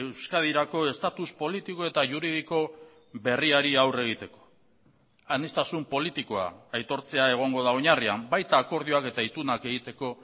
euskadirako estatus politiko eta juridiko berriari aurre egiteko aniztasun politikoa aitortzea egongo da oinarrian baita akordioak eta itunak egiteko